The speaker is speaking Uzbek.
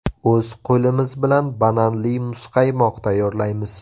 O‘z qo‘limiz bilan bananli muzqaymoq tayyorlaymiz.